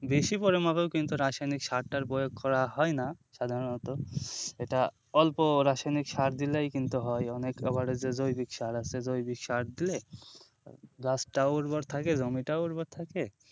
বেশি পরিমাপক কিন্তু রাসায়নিক সার টার প্রয়োগ করা হয়না সাধারণত এটা অল্প রাসায়নিক সার দিলেই কিন্তু হয় অনেক আবার যে জৈবিক সার আছে জৈবিক সার দিলে গাছটাও উর্বর থাকে জমিটাও উর্বর থাকে,